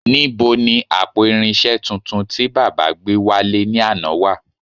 Nibo ni àpò irinṣẹ́ tuntun tí baba gbé wálé ní àná wà